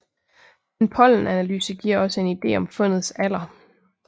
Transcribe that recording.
En pollenanalyse giver også en ide om fundets alder